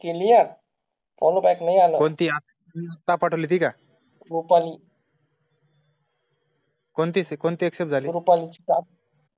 चुकून ती accept झाली